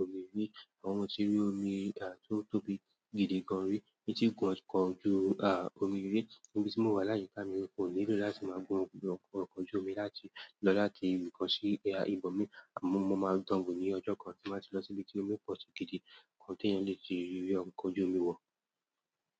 omi rí, àmọ mo tí rí omi à tó tóbi gidi gan ri. Mi tí gun ọkọ̀ ojú a, omi rí níbi tí mò wà láyé áyika mi kò nílò láti máa gun ọkọ̀, oko, oko ojú omi láti lọ láti ibì kan sí boya ìbòmí, àmọ́ mo máa dánwo ní ọjọ́ kan tí màá ti lọ sí ibi tí omi pọ̀ sí gidi kan tí èeyàn lè ti rí ri ọkọ ojú omi wọ̀.